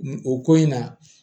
Nin o ko in na